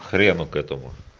хрену к этому